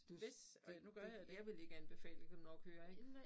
Du du du jeg ville ikke anbefale det kan du nok høre ik